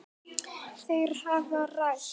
Þær hafa ræst.